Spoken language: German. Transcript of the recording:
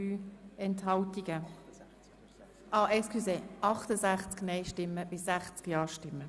Wer diese als Postulat annehmen will, stimmt ja, wer sie ablehnt, stimmt nein.